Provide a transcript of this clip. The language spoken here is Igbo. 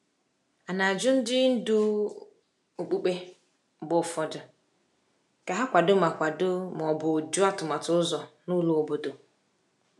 A na-ajụ ndị ndu okpukpe mgbe ụfọdụ ka ha kwado ma kwado ma ọ bụ jụ atụmatụ ụzọ na ụlọ obodo.